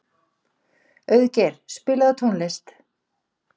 Auðgeir, spilaðu tónlist.